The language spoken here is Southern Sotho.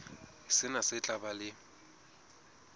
sena se tla ba le